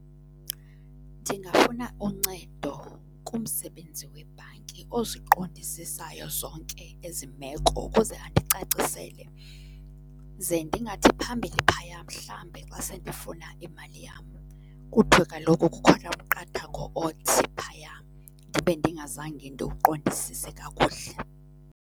Ndingafuna uncedo kumsebenzi webhanki oziqondisisayo zonke ezi meko ukuze andicacisele. Ze ndingathi phambili phaya mhlambe xa sendifuna imali yam kuthiwe kaloku kukhona umqathango othi phaya, ndibe ndingazanga ndiwuqondisise kakuhle.